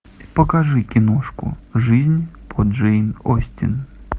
покажи киношку жизнь по джейн остин